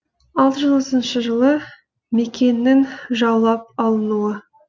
алты жүз отызыншы жылы меккенің жаулап алынуы